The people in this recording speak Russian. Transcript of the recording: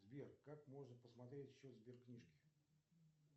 сбер как можно посмотреть счет сберкнижки